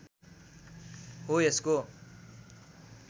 हो यसको